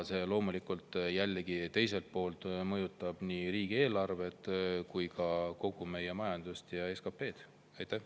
See teiselt poolt loomulikult mõjutab nii riigieelarvet kui ka kogu meie majandust ja SKP‑d.